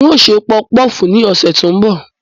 N ó ṣe pọfupọ́ọ̀fù ní ọ̀sẹ̀ tó ń bọ̀